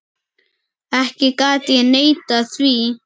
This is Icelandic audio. Ekki gat ég neitað því.